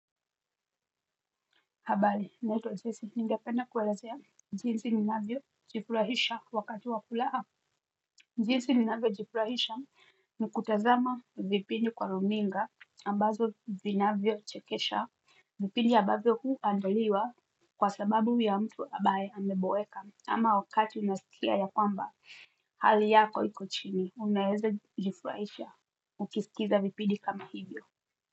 Habari, naitwa Jessy ningependa kuelezea jinsi ninavyojifurahisha wakati wa kulala. Jinsi ninavyojifurahisha ni kutazama vipindi kwa runinga ambazo vinavyochekesha. Vipindi ambavyo huandaliwa kwa sababu ya mtu ambaye ameboeka ama wakati unasikia ya kwamba. Hali yako iko chini, unaeza jifurahisha. Ukisikiza vipindi kama hivyo.